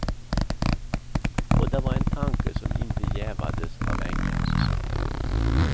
Och det var en tanke som inte jävades av änkans svar.